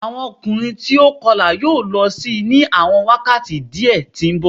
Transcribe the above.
Awọn ọkunrin ti o kọla yoo lọ si ni awọn wakati diẹ ti nbọ